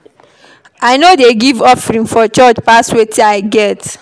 I no dey give offering for church pass wetin I get.